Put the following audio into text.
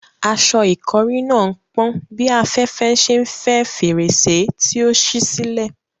Aṣọ ìkọ́rí náà ń pọ́n bí afẹ́fẹ́ ṣe ń fẹ́ fèrèsé tí ó ṣí sílẹ̀.